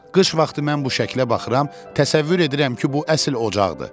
Qış vaxtı mən bu şəklə baxıram, təsəvvür edirəm ki, bu əsl ocaqdır.